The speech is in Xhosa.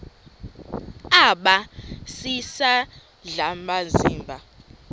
aba sisidl amazimba